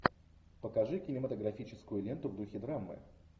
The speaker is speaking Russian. покажи кинематографическую ленту в духе драмы